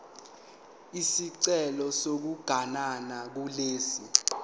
isicelo sokuganana kulesi